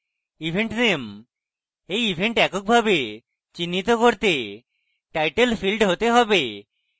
event name এই event এককভাবে চিহ্নিত করতে title field হতে পারে